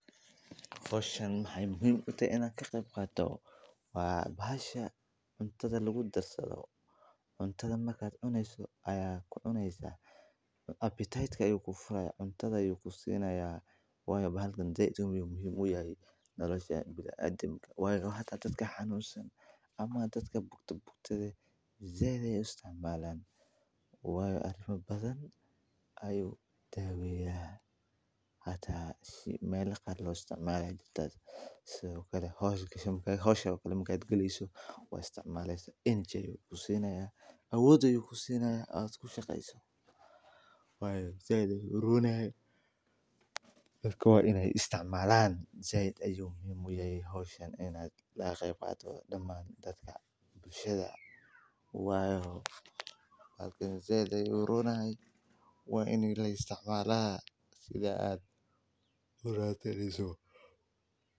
Howshan waxeey muhiim utahay in laga qeeb qaato wa bahasha cuntada lagu darsado dadka xanuunsan sait ayeey u isticmaalan madama wax badan ayuu daweya sida howsha marka aad galeyso awood ayuu kusiina sait ayuu muhiim uyahay in laga qeeb qaato sait ayuu ufican yahay waa in la isticmaalaa.